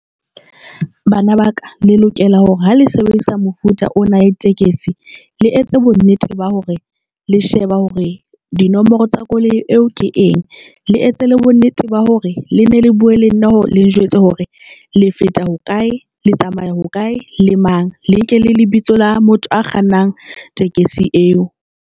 Bana baka le lokela hore ha le sebedisa mofuta o na tekesi, le etse bonnete ba hore le sheba hore dinomoro tsa koloi eo ke eng, le etse le bonnete ba hore le ne le bua le nna le njwetse hore le feta hokae, le tsamaya ho kae le mang le nke le lebitso la motho a kgannang tekesi eo.